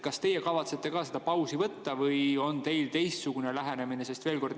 Kas teie kavatsete seda pausi võtta või on teil teistsugune lähenemine?